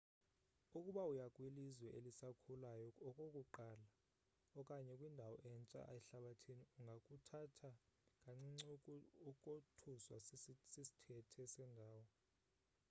ukuba uya kwilizwe elisakhulayo okokuqala okanye kwindawo entsha ehlabathini ungakuthathi kancinci ukothuswa sisthethe sendawo